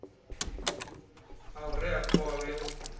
ha u rea khovhe u